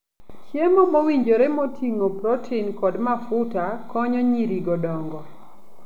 Chiemo mowinjore moting'o protin kod mafuta konyo nyirigo dongo.